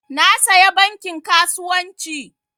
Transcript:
Na saya bankin kasuwancin